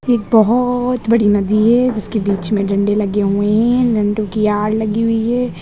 एक बोहोत बड़ी नदी है जिसके बीच में डंडे लगे हुए है डंडों की आड़ लगी हुई है।